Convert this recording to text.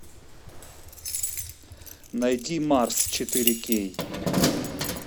найди марс четыре кей